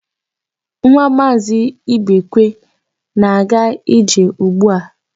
Nwa Maazị Ibekwe na-aga ije ugbu a.